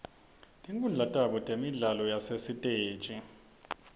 tinkhundla tabo temidlalo yasesitej